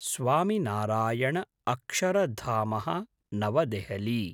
स्वामिनारायण अक्षरधामः नवदेहलि